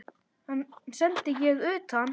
Hann sendi ég utan.